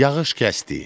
Yağış kəsdi.